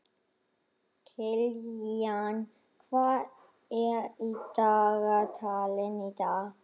Kilían, hvað er á dagatalinu í dag?